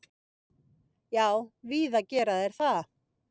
Já, víða gera þeir það.